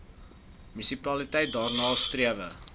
munisipaliteit daarna strewe